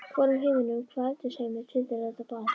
Hvorum heiminum- hvaða efnisheimi- tilheyrir þetta barn?